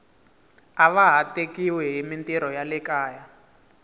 ava ha tekiwi himitirho ya le kaya